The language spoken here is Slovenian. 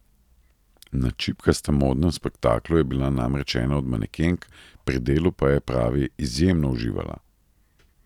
Na Čipkastem modnem spektaklu je bila namreč ena od manekenk, pri delu pa je, pravi, izjemno uživala.